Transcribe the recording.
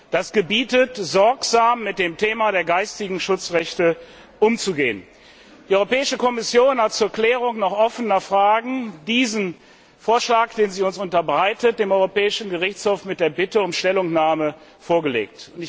Das gebietet, sorgsam mit dem Thema der geistigen Schutzrechte umzugehen. Die Europäische Kommission hat zur Klärung noch offener Fragen diesen Vorschlag, den sie uns unterbreitet, dem Europäischen Gerichtshof mit der Bitte um Stellungnahme vorgelegt.